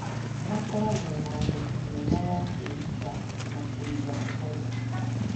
makoragwo na ũhoti mwega wa kwĩruta na kũiga ũhoro.